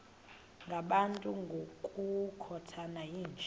ngabantu ngokukhothana yinja